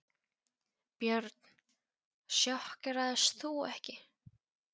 Björn: Sjokkeraðist þú ekki?